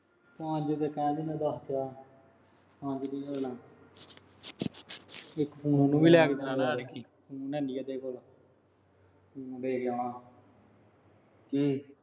ਮੈਨੂੰ ਵੀ ਲਿਆ ਕੇ ਦੇਣਾ ਕੀ